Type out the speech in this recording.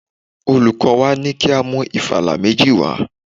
Olùkọ́ ní ka mú ìfala méjì wá.